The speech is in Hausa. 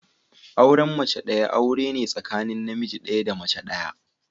Auren mace daya aure ne tsakanin namiji daya da mace daya.